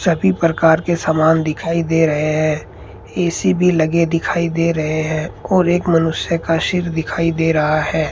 सभी प्रकार के सामान दिखाई दे रहे हैं ए_सी भी लगे दिखाई दे रहे हैं और एक मनुष्य का सिर दिखाई दे रहा है।